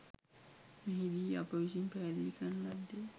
මෙහිදී අප විසින් පැහැදිලි කරන ලද්දේ